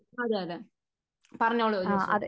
അതേ അതേ പറഞ്ഞോളു ജോസു